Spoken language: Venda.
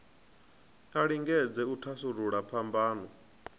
a lingedze u thasulula phambano